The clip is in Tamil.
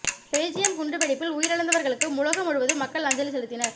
பெல்ஜியம் குண்டு வெடிப்பில் உயிரிழந்தவர்களுக்கு உலக முழுவதும் மக்கள் அஞ்சலி செலுத்தினர்